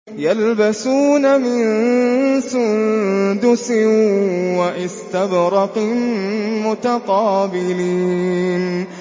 يَلْبَسُونَ مِن سُندُسٍ وَإِسْتَبْرَقٍ مُّتَقَابِلِينَ